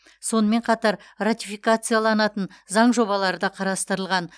сонымен қатар ратификацияланатын заң жобалары да қарастырылған